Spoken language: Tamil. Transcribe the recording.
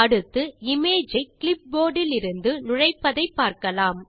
அடுத்து இமேஜ் ஐ கிளிப்போர்ட் இலிருந்து நுழைப்பதை பார்க்கலாம்